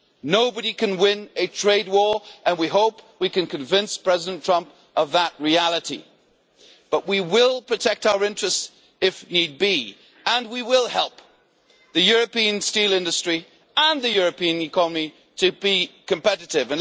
Nobody can win a trade war. We hope that we can convince President Trump of that reality, but we will protect our interests if need be and we will help the European steel industry and the European economy to be competitive.